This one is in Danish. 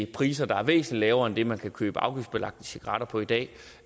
priser der er væsentlig lavere end det man kan købe afgiftsbelagte cigaretter for i dag